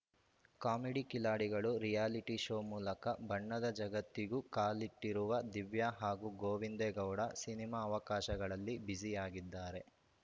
comedy ಕಿಲಾಡಿಗಳು reality show ಮೂಲಕ ಬಣ್ಣದ ಜಗತ್ತಿಗೂ ಕಾಲಿಟ್ಟಿರುವ ದಿವ್ಯಾ ಹಾಗೂ ಗೋವಿಂದೇ ಗೌಡ ಸಿನಿಮಾ ಅವಕಾಶಗಳಲ್ಲಿ ಬ್ಯುಸಿ ಆಗಿದ್ದಾರೆ